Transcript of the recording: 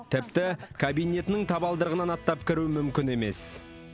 тіпті кабинетінің табалдырығынан аттап кіру мүмкін емес